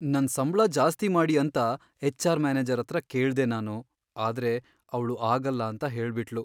ನನ್ ಸಂಬ್ಳ ಜಾಸ್ತಿ ಮಾಡಿ ಅಂತ ಎಚ್.ಆರ್. ಮ್ಯಾನೇಜರ್ ಹತ್ರ ಕೇಳ್ದೆ ನಾನು, ಆದ್ರೆ ಅವ್ಳು ಆಗಲ್ಲ ಅಂತ ಹೇಳ್ಬಿಟ್ಳು.